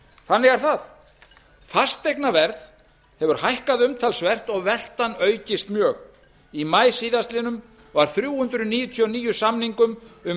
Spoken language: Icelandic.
þannig er það fasteignaverð hefur hækkað umtalsvert og veltan aukist mjög í maí síðastliðinn var þrjú hundruð níutíu og níu samningum um